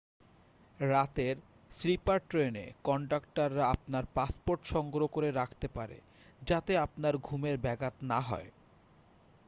রাতের স্লিপার ট্রেনে কনডাক্টররা আপনার পাসপোর্ট সংগ্রহ করে রাখতে পারে যাতে আপনার ঘুমের ব্যাঘাত না হয়